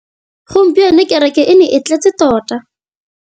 Gompieno kêrêkê e ne e tletse tota.